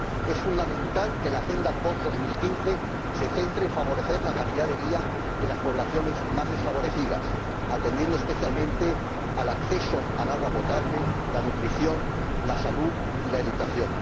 Es fundamental que la agenda para después de 2015 se centre en favorecer la calidad de vida de las poblaciones más desfavorecidas, atendiendo especialmente al acceso al agua potable, la nutrición, la salud y la educación.